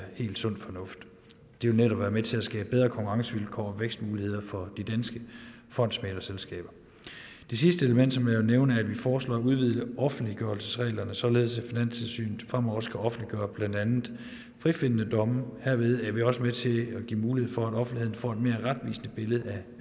helt sund fornuft det vil netop være med til at skabe bedre konkurrencevilkår og vækstmuligheder for de danske fondsmæglerselskaber det sidste element som jeg vil nævne er at vi foreslår at udvide offentliggørelsesreglerne således at finanstilsynet fremover skal offentliggøre blandt andet frifindende domme herved er vi også med til at give mulighed for at offentligheden får et mere retvisende billede